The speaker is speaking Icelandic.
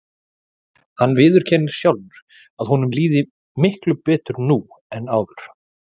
Hann viðurkennir sjálfur að honum líði miklu betur nú en áður.